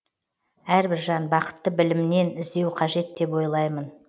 әрбір жан бақытты білімнен іздеу қажет деп ойлаймын